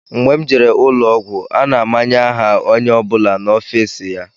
Mgbe m jere ụlọọgwụ, a na-amanye aha onye ọ bụla n'ofiisi ya